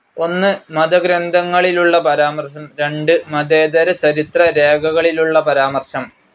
ഒന്ന് മത ഗ്രന്ഥങ്ങളിലുള്ള പരാമർശം, രണ്ട് മതേതരചരിത്ര രേഖകളിലുള്ള പരാമർശം.